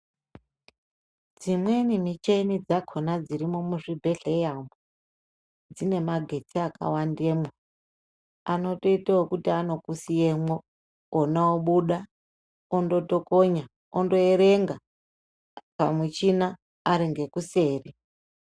Dzimweni michini dzakhona dzirimwo muzvibhedhlera umwu dzine magetsi akawandemwo anotoite wekuti anokusiyemwo ona obuda ondotokonya ondoerenga pamuchina ari ngekuseri